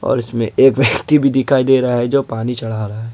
और इसमें एक व्यक्ति भी दिखाई दे रहा है जो पानी चढ़ा रहा है।